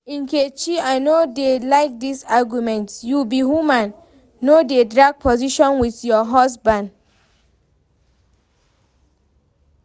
Nkechi I no dey like dis argument, you be woman, no dey drag position with your husband